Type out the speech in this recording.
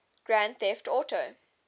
grand theft auto